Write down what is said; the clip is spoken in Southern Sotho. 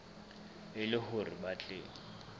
e le hore ba tle